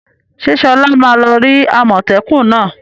Ṣé Sola ma lọ rí àmọ́tẹ́kùn náà?